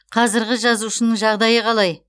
қазіргі жазушының жағдайы қалай